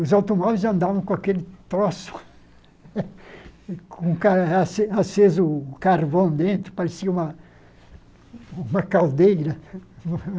Os automóveis andavam com aquele troço, com o car ace aceso o carvão dentro, parecia uma uma caldeira.